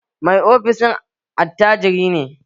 Mai ofishin attajiri ne